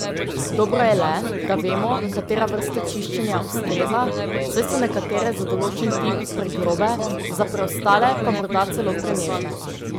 Dobro je le, da vemo, katera vrsta čiščenja ustreza, saj so nekatere za določen tip pregrobe, za preostale pa morda celo prenežne.